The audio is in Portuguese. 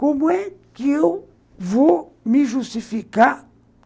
Como é que eu vou me justificar?